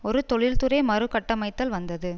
ஒரு தொழில்துறை மறு கட்டமைத்தல் வந்தது